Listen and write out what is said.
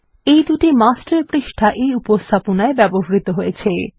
এই দুটি হলো মাস্টার পৃষ্ঠা যেগুলি এই উপস্থাপনায় ব্যবহৃত হয়েছে